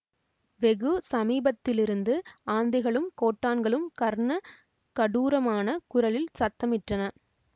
வெகு சமீபத்திலிருந்து ஆந்தைகளும் கோட்டான்களும் கர்ண கடூரமான குரலில் சத்தமிட்டன